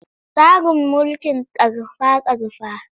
Tsarin mulkin ƙarfa-ƙarfa.